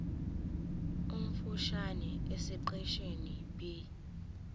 omfushane esiqeshini b